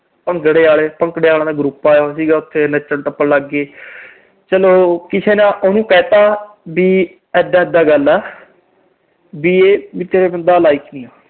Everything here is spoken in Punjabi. ਭੰਗੜੇ ਆਲੇ। ਭੰਗੜੇ ਆਲਿਆਂ ਦਾ group ਆਇਆ ਹੋਇਆ ਸੀਗਾ, ਉਥੇ ਨੱਚਣ-ਟੱਪਣ ਲੱਗ ਗਏ। ਚਲੋ ਕਿਸੇ ਨੇ ਉਹਨੂੰ ਕਹਿਤਾ ਵੀ ਇਦਾਂ ਇਦਾਂ ਗੱਲ ਆ, ਵੀ ਇਹ ਤੇਰੇ ਬੰਦਾ like ਨੀ ਆ।